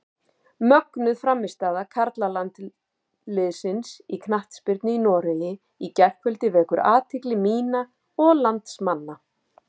Mögnuð frammistaða karlalandsliðsins í knattspyrnu í Noregi í gærkvöldi vekur athygli mína og landsmanna.